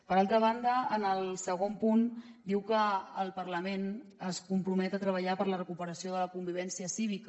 per altra banda en el segon punt diu que el parlament es compromet a treballar per la recuperació de la convivència cívica